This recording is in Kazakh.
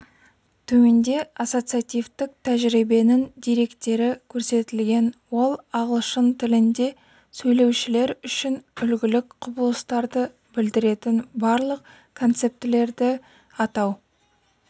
төменде ассоциативтік тәжірибенің деректері көрсетілген ол ағылшын тілінде сөйлеушілер үшін үлгілік құбылыстарды білдіретін барлық концептілерді атау